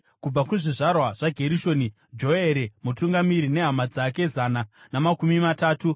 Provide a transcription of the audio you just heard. kubva kuzvizvarwa zvaGerishoni, Joere mutungamiri nehama dzake zana namakumi matatu;